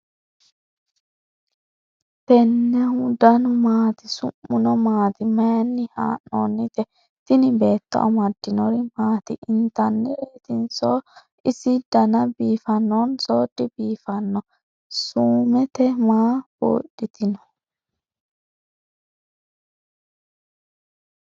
tennehu danu maati? su'muno maati? maayinni haa'noonnite ? tini beeto amaddinori maat? intannireetinso ? ise dana biiffannonso dibiiffanno ? suumete maa buudhitino ?